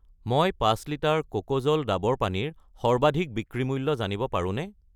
মই 5 লিটাৰ কোকোজল ডাবৰ পানী ৰ সৰ্বাধিক বিক্ৰী মূল্য জানিব পাৰোনে?